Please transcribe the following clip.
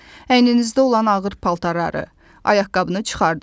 əyninizdə olan ağır paltarları, ayaqqabını çıxardın.